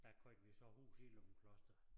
Der købte vi så hus i Løgumkloster